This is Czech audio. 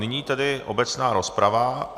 Nyní tedy obecná rozprava.